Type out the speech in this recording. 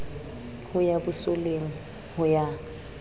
ho ya bosoleng ho ya